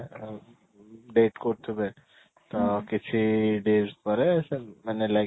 date କରୁ ଥିବେ ଅଂ କିଛି days ପରେ ସେ ମାନେ like